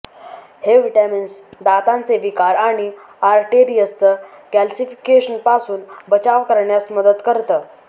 हे व्हिटॅमिन्स दातांचे विकार आणि आरटेरियसचं कॅलसीफिकेशन पासून बचाव करण्यास मदत करतं